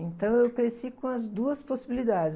Então, eu cresci com as duas possibilidades.